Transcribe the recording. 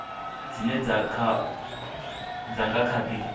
dzine dza nga kha di